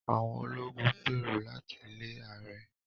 Àwọn ológun ń gbèrò láti lé ààrẹ